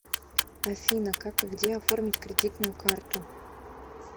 афина как и где оформить кредитную карту